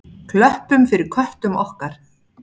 Klöppum fyrir köttum okkar!